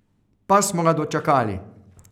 Pa smo ga dočakali!